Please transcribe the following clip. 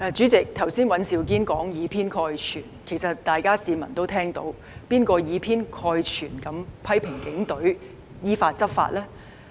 主席，剛才尹兆堅議員說有議員以偏概全，其實市民也知道是誰以偏概全地批評警隊依法執法呢？